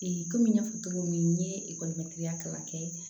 kɔmi n y'a fɔ cogo min n ye kalan kɛ